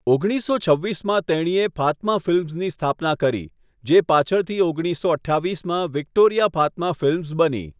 ઓગણીસો છવ્વીસમાં, તેણીએ ફાતમા ફિલ્મ્સની સ્થાપના કરી, જે પાછળથી ઓગણીસો અઠ્ઠાવીસમાં વિક્ટોરિયા ફાતમા ફિલ્મ્સ બની.